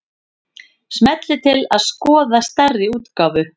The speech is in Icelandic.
Smellið til að skoða stærri útgáfu